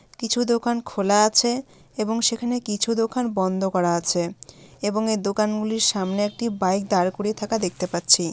কিছু দোকান খোলা আছে এবং সেখানে কিছু দোকান বন্ধ করা আছে | এবং এ দোকান গুলির সামনে একটি বাইক দাঁড় করিয়ে থাকা দেখতে পাচ্ছি।